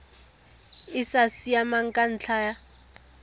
e sa siamang ka ntlha